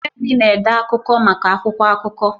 Femi na-ede akụkọ maka akwụkwọ akụkọ.